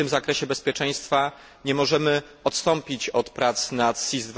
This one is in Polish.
Tak więc w tym zakresie bezpieczeństwa nie możemy odstąpić od prac nad SIS II.